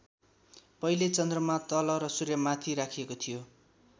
पहिले चन्द्रमा तल र सूर्य माथि राखिएको थियो।